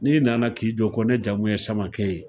N'i nana k'i jɔ kɔ ne jamu ye samakɛ ye